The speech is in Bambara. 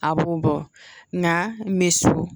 A b'o bɔ nka n bɛ so